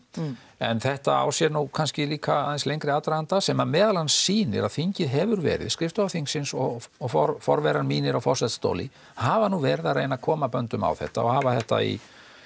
en þetta á sér nú kannski líka aðeins lengri aðdraganda sem að meðal annar sýnir að þingið hefur verið skrifstofa þingsins og og forverar mínir á forsetastóli hafa nú verið að reyna að koma böndum á þetta og hafa þetta í